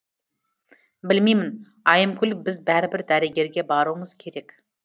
білмеймін айымгүл біз бәрібір дәрігерге баруымыз керек